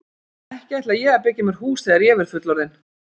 Ekki ætla ég að byggja mér hús þegar ég verð fullorðinn.